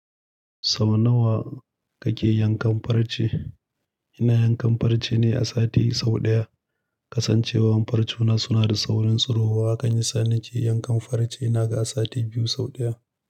Sau nawa kake yankan farce? Ina yankan farce ne a sati sau ɗaya. Kasancewar farce na suna da saurin tsirowa, hakan yasa nake yankan farce ina ga a sati biyu sau ɗaya.